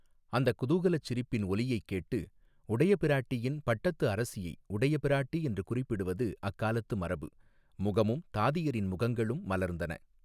அந்தக் குதூகலச் சிரிப்பின் ஒலியைக் கேட்டு உடைய பிராட்டியின் பட்டத்து அரசியை உடைய பிராட்டி என்று குறிப்பிடுவது அக்காலத்து மரபு முகமும் தாதியரின் முகங்களும் மலர்ந்தன.